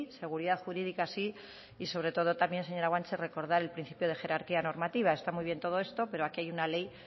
seguridad jurídica sí y sobre todo también señora guanche recordar el principio de jerarquía normativa está muy bien todo esto pero aquí hay una ley